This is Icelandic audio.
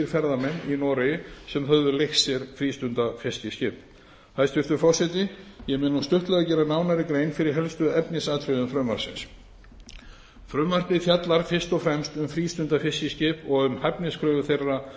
ferðamenn í noregi sem höfðu leigt sér frístundafiskiskip hæstvirtur forseti ég mun nú stuttlega gera nánari grein fyrir helstu efnisatriðum frumvarpsins frumvarpið fjallar fyrst og fremst um frístundafiskiskip og um hæfniskröfur þeirra